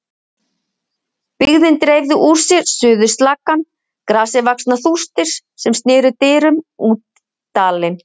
Byggðin dreifði úr sér suður slakkann, grasivaxnar þústir sem sneru dyrum út dalinn.